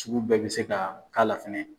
Cugu bɛɛ bɛ se ka k'a la fɛnɛ.